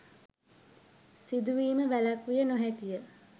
සිදුවීම වැළැක්විය නො හැකිය.